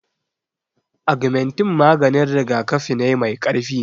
Agamentin maganin rigakafi ne mai karfi